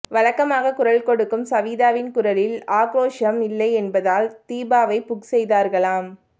வழக்கமாக குரல் கொடுக்கும் சவீதாவின் குரலில் ஆக்ரோஷம் இல்லை என்பதால் தீபாவை புக் செய்தார்களாம்